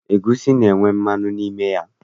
Egwusi na-enwe mmanụ n'ime ya.